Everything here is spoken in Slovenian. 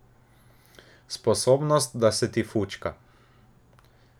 Sposobnost, da se ti fučka.